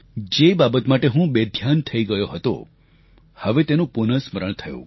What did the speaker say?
જે બાબત માટે હું બેધ્યાન થઈ ગયો હતો હવે તેનું પુનઃ સ્મરણ થયું